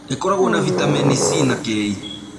ĩkorogwo na vitameni C na K.